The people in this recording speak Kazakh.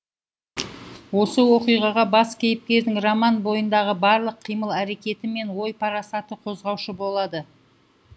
осы оқиғаға бас кейіпкердің роман бойындағы барлық қимыл әрекеті мен ой парасаты қозғаушы болады